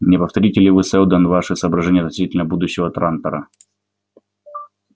не повторите ли вы сэлдон ваши соображения относительно будущего трантора